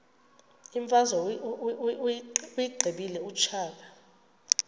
imfazwe uyiqibile utshaba